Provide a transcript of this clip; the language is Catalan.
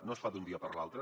no es fa d’un dia per l’altre